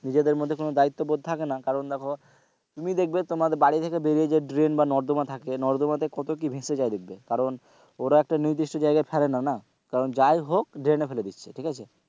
নিজেদের মধ্যে কোনো দায়িত্ব বোধ থাকেনা কারণ দেখো তুমি দেখবে তোমার বাড়ি থেকে বেরিয়ে যে ড্রেন বা নর্দমা থাকে নর্দমার মধ্যে কত কি ভেসে যায় দেখবে কারণ ওরা একটা নির্দিষ্ট জায়গায় ছাড়েনা না কারণ যাই হোক ড্রেনে ফেলে দিচ্ছে,